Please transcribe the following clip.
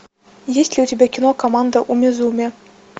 есть ли у тебя кино команда умизуми